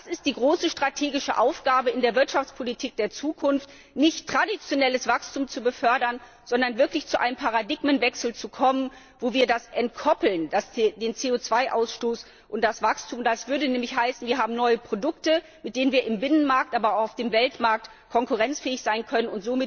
Das ist die große strategische Aufgabe in der Wirtschaftspolitik der Zukunft, nicht traditionelles Wachstum zu befördern, sondern wirklich zu einem Paradigmenwechsel zu kommen, wo wir CO 2 Ausstoß und Wachstum entkoppeln. Das würde nämlich heißen, wir haben neue Produkte, mit denen wir im Binnenmarkt, aber auch auf dem Weltmarkt konkurrenzfähig sein können.